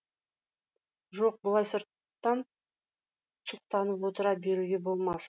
жоқ бұлай сырттан сұқтанып отыра беруге болмас